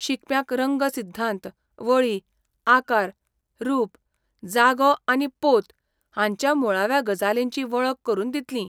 शिकप्यांक रंग सिध्दांत, वळी, आकार, रूप, जागो आनी पोत हांच्या मुळाव्या गजालींची वळख करून दितलीं.